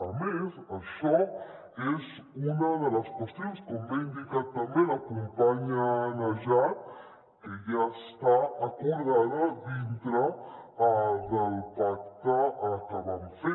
a més això és una de les qüestions com bé ha indicat també la companya najat que ja està acordada dintre del pacte que vam fer